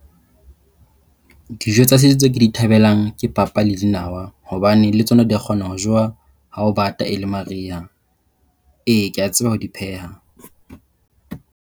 Dijo tsa setso tseo ke di thabelang ke papa le dinawa. Hobane le tsona di kgona ho jowa ha ho bata e le Mariha. E, ke a tseba ho di pheha.